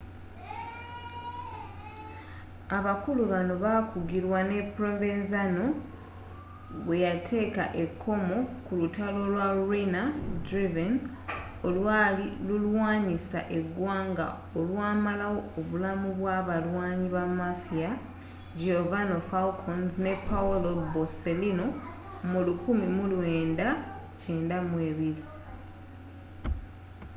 abakulu bano baakugirwa ne provenzano bweyateeka ekomo ku lutalo lwa riina-driven olwali lulwanyisa egwanga olwamalawo obulamu bwaba abalwanyi ba mafia giovanni falcons ne paolo borsellino my 1992